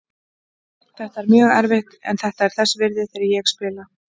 Þetta er mjög erfitt en þetta er þess virði þegar ég spila.